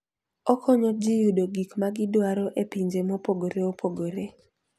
Okonyo ji yudo gik ma gidwaro e pinje mopogore opogore.